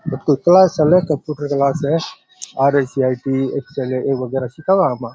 अठ कोई क्लास चले है कंप्यूटर क्लास है आर_ए_सी_आई_टी --